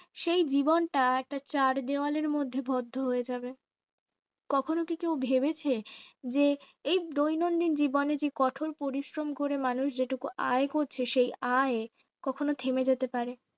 সে জীবনটা একটা চার দেয়ালের মধ্যে বদ্ধ হয়ে যাবে কখনো কি কেউ ভেবেছে যে এই দৈনন্দিন জীবনে যে কঠোর পরিশ্রম করে মানুষ যেটুকু মানুষ আয় করছে সে আয় কখনো থেমে যেতে পারে